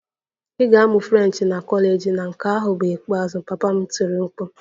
Ị ga-amụ French na kọleji na nke ahụ bụ ikpeazụ! Papa m tiri mkpu